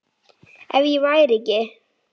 Ef ég væri ekki